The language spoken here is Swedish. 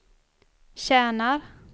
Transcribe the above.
tjänar